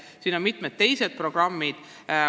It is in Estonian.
Olulised on ka mitmed teised programmid.